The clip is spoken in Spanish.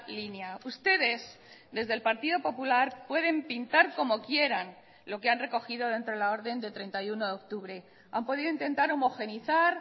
línea ustedes desde el partido popular pueden pintar como quieran lo que han recogido dentro de la orden de treinta y uno de octubre han podido intentar homogeneizar